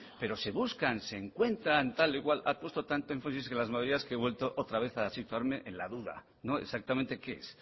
pero se buscan se encuentra tal y cual ha puesto tanto énfasis en las mayorías que he vuelto otra vez a situarme en la duda exactamente qué es